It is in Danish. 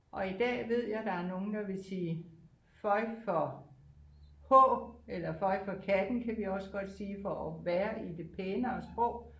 Og i dag ved jeg der er nogle der ville sige føj for H eller føj for katten kan vi også godt sige for at være i det pænere sprog